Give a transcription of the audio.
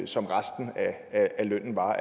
som resten af lønnen var